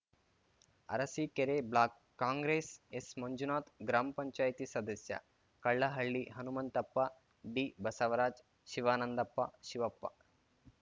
Arsikere block Congress ಎಸ್‌ಮಂಜುನಾಥ್‌ gram panchayat ಸದಸ್ಯ ಕಲ್ಲಹಳ್ಳಿ ಹನುಂತಪ್ಪ ಡಿಬಸವರಾಜ್‌ ಶಿವಾನಂದಪ್ಪ ಶಿವಪ್ಪ